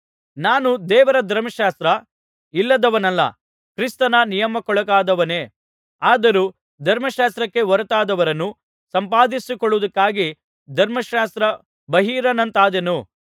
ನಾನು ದೇವರ ಧರ್ಮಶಾಸ್ತ್ರ ಇಲ್ಲದವನಲ್ಲ ಕ್ರಿಸ್ತನ ನಿಯಮಕ್ಕೊಳಗಾದವನೇ ಆದರೂ ಧರ್ಮಶಾಸ್ತ್ರಕ್ಕೆ ಹೊರತಾದವರನ್ನು ಸಂಪಾದಿಸಿಕೊಳ್ಳುವುದಕ್ಕಾಗಿ ಧರ್ಮಶಾಸ್ತ್ರ ಬಾಹಿರನಂತಾದೆನು